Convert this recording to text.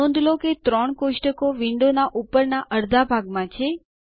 નોંધ લો કે ત્રણ ટેબલો કોષ્ટકો વિન્ડોનાં ઉપરનાં અર્ધા ભાગમાં છે